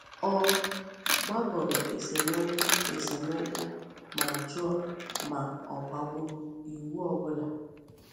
Ọ gbagoro esemokwu esemokwu ma jụọ ma ọ gbagburu iwu ọ bụla.